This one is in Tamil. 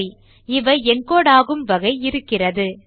சரி இவை encodeஆகும் வகை இருக்கிறது